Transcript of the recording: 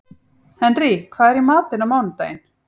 Henrý, hvað er í matinn á mánudaginn?